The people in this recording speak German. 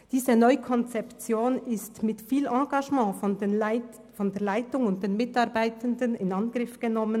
Diese Neukonzeption wurde mit viel Engagement seitens der Leitung und der Mitarbeitenden in Angriff genommen.